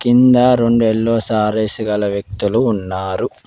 కింద రెండు ఎల్లోసారి వ్యక్తులు ఉన్నారు.